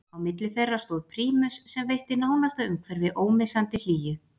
Á milli þeirra stóð prímus sem veitti nánasta umhverfi ómissandi hlýju.